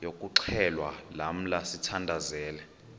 yokuxhelwa lamla sithandazel